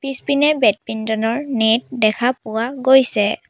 পিছপিনে বেডমিন্টন ৰ নেট দেখা পোৱা গৈছে।